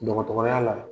Dɔgɔtɔrɔya la